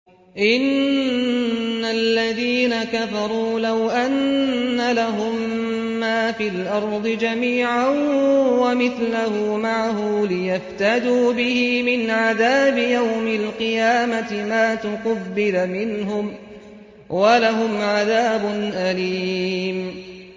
إِنَّ الَّذِينَ كَفَرُوا لَوْ أَنَّ لَهُم مَّا فِي الْأَرْضِ جَمِيعًا وَمِثْلَهُ مَعَهُ لِيَفْتَدُوا بِهِ مِنْ عَذَابِ يَوْمِ الْقِيَامَةِ مَا تُقُبِّلَ مِنْهُمْ ۖ وَلَهُمْ عَذَابٌ أَلِيمٌ